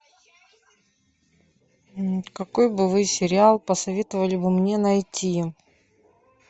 какой бы вы сериал посоветовали бы мне найти